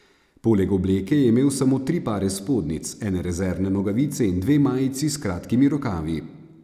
Poleg obleke je imel samo tri pare spodnjic, ene rezervne nogavice in dve majici s kratkimi rokavi.